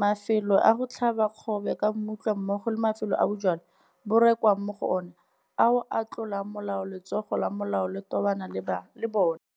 mafelo a go tlhaba kgobe ka mmutla mmogo le mafelo a bojalwa bo rekwang mo go ona ao a tlolang molao letsogo la molao le tobana le bona.